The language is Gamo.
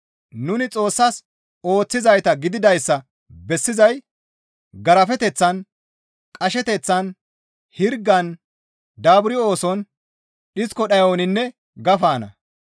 Nuni Xoossas ooththizayta gididayssa bessizay garafeteththan, qasheteththan, hirgan, daaburi ooson, dhisko dhayoninne gafanna.